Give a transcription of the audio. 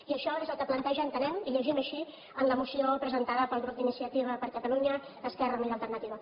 i això és el que planteja ho entenem i ho llegim així la moció presentada pel grup d’iniciativa per catalunya verds · esquerra unida i alternativa